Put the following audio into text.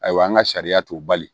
Ayiwa an ka sariya t'u bali